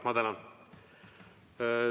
Ma tänan!